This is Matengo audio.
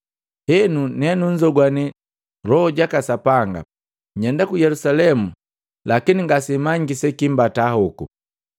Henu, nenunzogwane Loho jaka Sapanga, nyenda ku Yelusalemu lakini ngasemanyiki sekimbata hoko.